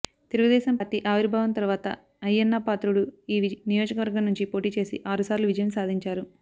Telugu Desam party ఆవిర్భావం తర్వాత అయ్యన్నపాత్రుడు ఈ నియోజకవర్గం నుంచి పోటీ చేసి ఆరుసార్లు విజయం సాధించారు